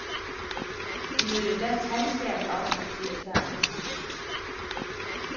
De mødte da talstærkt op tirsdag aften.